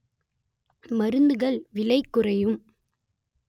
மருந்துகள் விலைக்குறையும்